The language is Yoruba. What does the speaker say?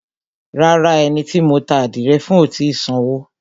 Rárá, ẹni tí mo ta ádìrẹ fún ò tì í sanwó.